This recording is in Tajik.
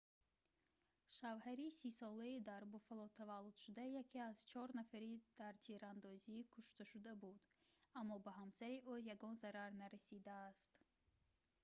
шавҳари 30-солаи дар буффало таваллудшуда яке аз чор нафари дар тирандозӣ кушташуда буд аммо ба ҳамсари ӯ ягон зарар нарасидааст